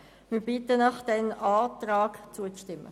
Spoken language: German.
Wir bitten Sie, dem Antrag zuzustimmen.